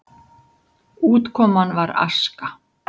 Útkoman var aska.